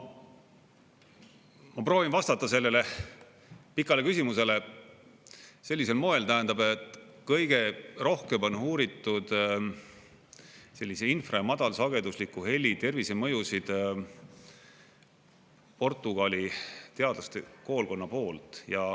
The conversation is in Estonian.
Ma proovin vastata sellele pikale küsimusele sellisel moel, tähendab, et kõige rohkem on uuritud infra- ja madalsagedusliku heli tervisemõjusid Portugali teadlaste koolkonna poolt.